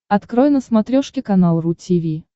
открой на смотрешке канал ру ти ви